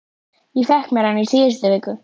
Ég fékk mér hann í síðustu viku.